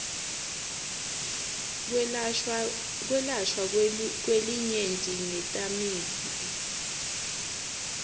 kwelashwa kwelinyenti ngetamiflu